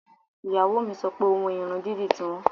Ìyàwó mi sọ pé owó irun dídì ti wọ́n